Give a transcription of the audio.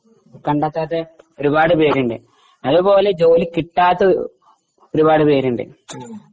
കണ്ടെത്താത്ത ഒരുപാട് പേരുണ്ട് അതുപോലെ ജോലി കിട്ടാത്ത ഒരുപാട് പേരുണ്ട്.